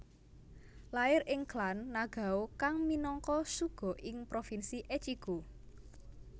Lair ing klan Nagao kang minangka shugo ing provinsi Echigo